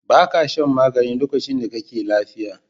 Ba ka shan magani lokacin da kake lafiya.